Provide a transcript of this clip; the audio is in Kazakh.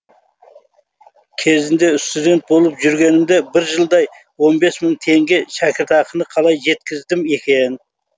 кезінде студент болып жүргенімде бір жылдай он бес мың теңге шәкіртақыны қалай жеткіздім екен